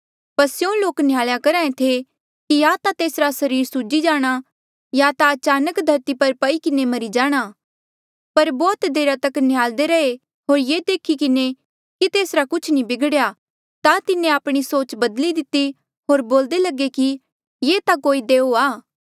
पर स्यों लोक न्हयालया करहा ऐें थे कि या ता तेसरा सरीर सूजी जाणा या ता अचानक धरती पर पई किन्हें मरी जाणा पर बौह्त देरा तक न्हयाल्दे रैहे होर ये देखी किन्हें कि तेसरा कुछ नी बिगड़ेया ता तिन्हें आपणी सोच बदली दिती होर बोल्दे लगे कि ये ता कोई देऊआ